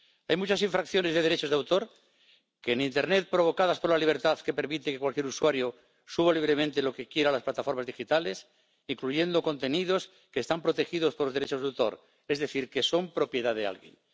Hay muchas infracciones de derechos de autor en internet provocadas por la libertad que permite que cualquier usuario suba libremente lo que quiera a las plataformas digitales, incluyendo contenidos que están protegidos por derechos de autor, es decir, que son propiedad de alguien.